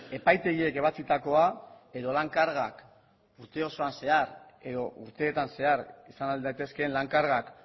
epaitegiek ebatzitakoa edo lan kargak urte osoan zehar edo urteetan zehar izan ahal daitezkeen lan kargak